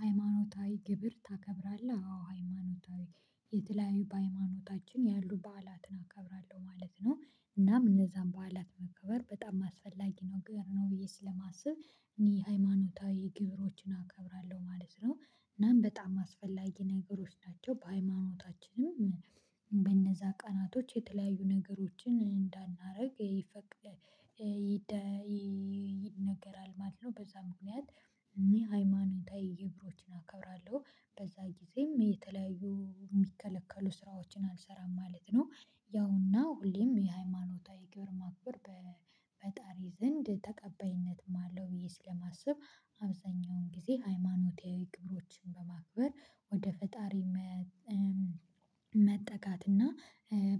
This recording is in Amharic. ሃይማኖታዊ ግብር ታከብራለህ? አዎ ሃይማኖታዊ የተለያዩ በሃይማኖታችን ያሉ በዓላትን አከብራለሁ ማለት ነው እናም እነዛን በዓላት መከበር በጣም አስፈላጊ ነው ግን ነው ብዬ ስለማስብ እኔ ሃይማኖታዊ ግብሮችን አከብራለሁ ማለት ነው። እናም በጣም አስፈላጊ ነገሮች ናቸው በሃይማኖታችንም በእነዛ ቀናቶች የተለያዩ ነገሮችን እንዳናደርግ ይፈቅድ ይነገራል ማለት ነው። በዛ ምክንያት እኔ ሃይማኖታዊ ግብሮችን አከብራለሁ በዛ ጊዜም የተለያዩ የሚከለከሉ ስራዎችን አልሰራም ማለት ነው። ያው እና ሁሌም የሃይማኖታዊ ግብር ማክበር በፈጣሪ ዘንድ ተቀባይነትም አለው ብዬ ስለማስብ አብዛኛውን ጊዜ ሃይማኖታዊ ግብሮችን በማክበር ወደ ፈጣሪ መጠጋት እና